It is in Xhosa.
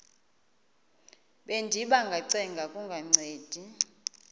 bendiba ngacenga kungancedi